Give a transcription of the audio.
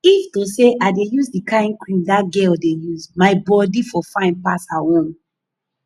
if to say i dey use the kyn cream dat girl dey use my body for fine pass her own